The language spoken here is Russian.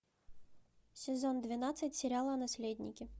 сезон двенадцать сериала наследники